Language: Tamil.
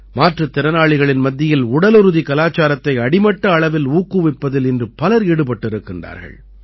மாற்றுத் திறனாளிகளின் மத்தியில் உடலுறுதி கலாச்சாரத்தை அடிமட்ட அளவில் ஊக்குவிப்பதில் இன்று பலர் ஈடுபட்டிருக்கின்றார்கள்